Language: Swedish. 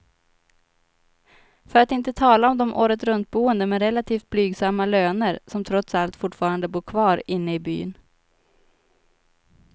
För att inte tala om de åretruntboende med relativt blygsamma löner, som trots allt fortfarande bor kvar inne i byn.